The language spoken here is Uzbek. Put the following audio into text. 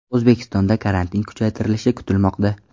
O‘zbekistonda karantin kuchaytirilishi kutilmoqda.